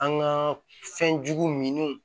An ka fɛnjugu min